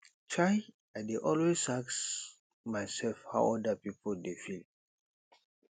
um i dey always ask mysef how oda pipo dey feel